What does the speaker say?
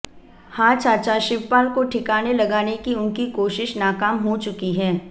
हां चाचा शिवपाल को ठिकाने लगाने की उनकी कोशिश नाकाम हो चुकी है